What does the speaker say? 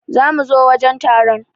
Za mu zo wajen taron.